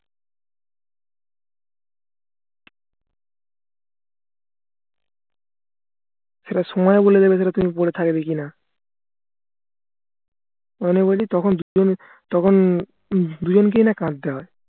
সেটা সময় বলে দেবে তুমি পরে থাকবে কিনা মানে বলছি তখন দুজন তখন উম দুজনকেই না কাঁদতে হয়